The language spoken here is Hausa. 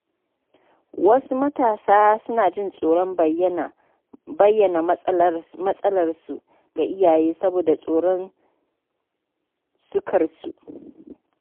Wasu matasa suna jin tsoron bayyana matsalarsu ga iyaye saboda tsoron sukar su.